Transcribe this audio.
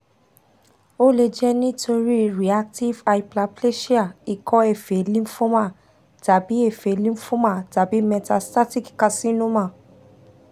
o le jẹ nitori reactive hyperplasia iko efe lymphoma tabi efe lymphoma tabi metastatic carcinoma